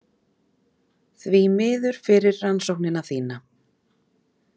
Því miður fyrir rannsóknina þína.